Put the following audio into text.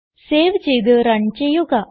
save ചെയ്ത് run ചെയ്യുക